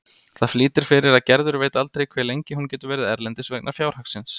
Það flýtir fyrir að Gerður veit aldrei hve lengi hún getur verið erlendis vegna fjárhagsins.